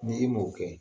Ni i m'o kɛ